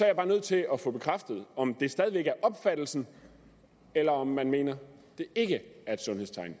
jeg bare nødt til at få bekræftet om det stadig væk er opfattelsen eller om man mener det ikke er et sundhedstegn